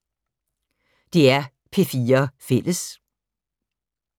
DR P4 Fælles